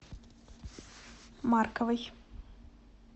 марковой